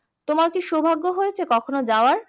তোমার কি সৌভাগ্য হয়েছে কখনো যাওয়ার?